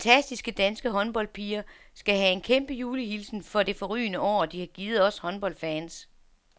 De fantastiske danske håndboldpiger skal have en kæmpe julehilsen for det forrygende år, de har givet os håndboldfans.